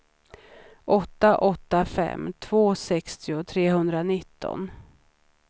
åtta åtta fem två sextio trehundranitton